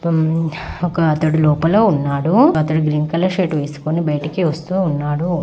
పుమ్ ఒకతడు లోపల ఉన్నాడు. గ్రీన్ కలర్ షర్ట్ వేసుకొని బయట--